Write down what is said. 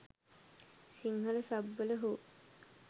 Sinhala sub වල හෝ